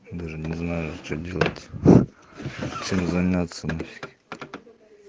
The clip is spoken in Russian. даже не знаю что делать чем заняться нафиг